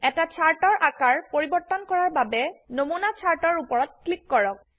এটা চাৰ্ট এৰ আকাৰ পৰিবৰ্তন কৰাৰ বাবে নমুনা চাৰ্ট এৰ উপৰত ক্লিক কৰক